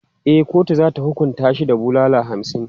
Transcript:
E, kotu za ta hukunta shi da bulala hamsin.